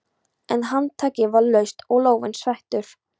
En handtakið var laust og lófinn sveittur.